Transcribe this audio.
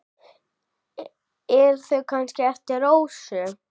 Eru þau kannski eftir Rósu?